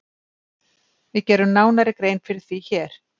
Við gerum nánari grein fyrir því hér.